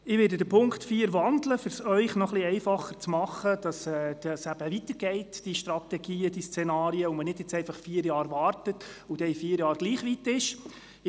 Ich werde den Punkt 4 wandeln, um es Ihnen noch etwas einfacher zu machen, damit die Strategien und Szenarien weitergehen, damit man nicht vier Jahre lang nur zuwartet und danach gleich weit wie heute sein wird.